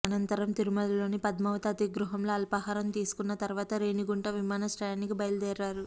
అనంతరం తిరుమలలోని పద్మావతి అతిథిగృహంలో అల్పాహారం తీసుకున్న తర్వాత రేణిగుంట విమానాశ్రయానికి బయల్దేరారు